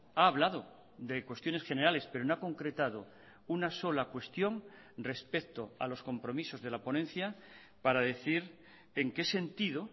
ha hablado de cuestiones generales pero no ha concretado una sola cuestión respecto a los compromisos de la ponencia para decir en qué sentido